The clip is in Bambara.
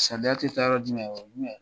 Samiya tɛ taara dinɛ o dinɛ.